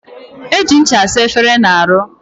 Eji ncha asa efere na aru.